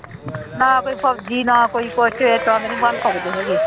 ਨਾ ਕੋਈ ਫ਼ੋਜ਼ੀ ਨਾ ਕੋਈ ਕੁਛ ਇਸ ਤਰ੍ਹਾਂ ਦੇ ਨੀ ਬਣ ਸਕਦੇ ਹੈਗੇ